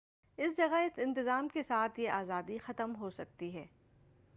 اس جگہ اس انتظام کے ساتھ یہ آزادی ختم ہوسکتی ہے